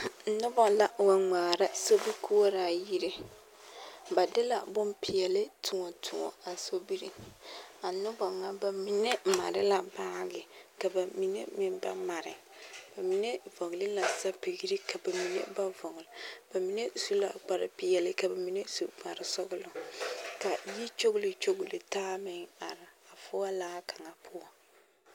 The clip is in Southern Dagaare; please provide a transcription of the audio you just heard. Nobɔ la wa ŋmaara sobikoɔraa yire ba de la bompeɛli toɔ toɔ a sobiri a nobɔ ŋa ba mine mare la baage ka mine meŋ ba mare bamine vɔgli la sapigri ka mine ba vɔgli ba mine su la kparrepeɛli ka ba mine su kparresɔglɔ ka yi kyogli kyogli taa meŋ are foɔ la kaŋa poɔŋ.